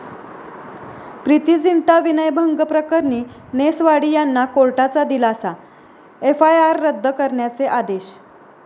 प्रीती झिंटा विनयभंग प्रकरणी नेस वाडीयांना कोर्टाचा दिलासा, एफआयआर रद्द करण्याचे आदेश